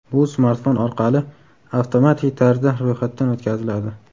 Bu smartfon orqali avtomatik tarzda ro‘yxatdan o‘tkaziladi.